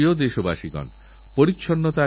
পুরো যৌবনকালকেই তাঁরা সমর্পণ করেছেন